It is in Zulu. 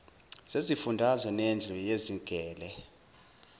zezifundazwe nendlu yezigele